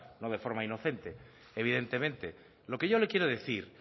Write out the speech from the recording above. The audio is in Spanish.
no de forma inocente evidentemente lo que yo le quiero decir